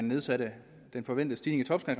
nedsatte den forventede stigning i